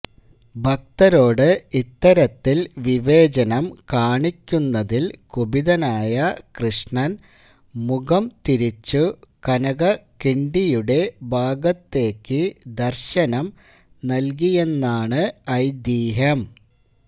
ഭക്തരോട് ഇത്തരത്തില് വിവേചനം കാണിക്കുന്നതില് കുപിതനായ കൃഷ്ണന് മുഖം തിരിച്ചു കനകകിണ്ടിയുടെ ഭാഗത്തേക്കു ദര്ശനം നല്കിയെന്നാണ് ഐതിഹ്യം